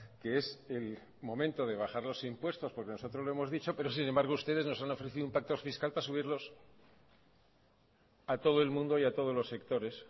que es el momento de bajar los impuestos porque nosotros lo hemos dicho pero sin embargo ustedes nos han ofrecido un pacto fiscal para subirlos a todo el mundo y a todos los sectores